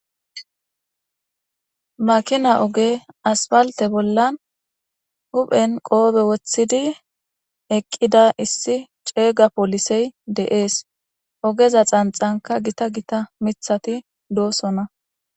makina oge aspalte bollan huphen qoobe woththidi eqqida issi ceega polisey deees ogeza xanxanka gita gita mithati doosona